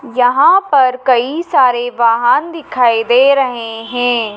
यहां पर कई सारे वाहन दिखाई दे रहे हैं।